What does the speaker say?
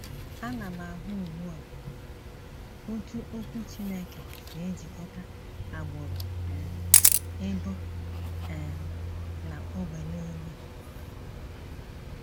Ana m ahụ ugbu a otú Okwu Chineke si ejikọta agbụrụ um, ebo um, na ógbè nile.